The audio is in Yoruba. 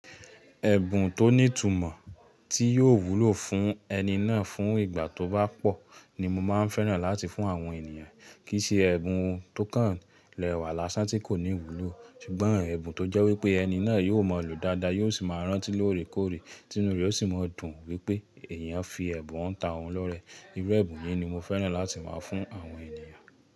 Ẹ̀bùn tó ní ìtumọ̀ tí yóò wúlò fún ẹni náà fún ìgbà tó bá pọ̀ ni mo máa ń fẹ́ràn láti fún àwọn ènìyàn. Kì í ṣe ẹ̀bùn tó kàn lẹ́wà lásán tí kò ní ìwúlò, ṣùgbọ́n ẹ̀bùn tó jẹ́ wípé ẹni náà yóò mọ lo dáadáa, yóò sì máa rántí lóòrèkóòrè, tí inú rẹ̀ ó sì máa dùn wípé èèyàn fi ẹ̀bùn hàn tá ọ̀un lọ́rẹẹ. Irú ẹ̀bùn yìí ni mo fẹ́ràn láti máa fún àwọn ènìyàn.